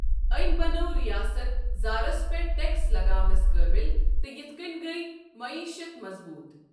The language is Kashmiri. أمۍ بنٲو ریاست زارس پٮ۪ٹھ ٹیکس لگاونَس قٲبِل تہٕ یتھ کٔنۍ گیۍ معیشت مضبوٗط۔۔